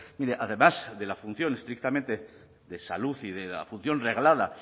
mire además de la función estrictamente de salud y de la función reglada